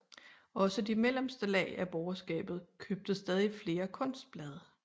Også de mellemste lag af borgerskabet købte stadig flere kunstblade